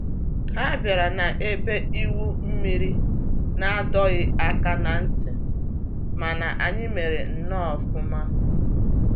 Ha bịara na ebe igwu mmiri n'adọghị aka na ntị, mana anyị mere nnọọ ọfụma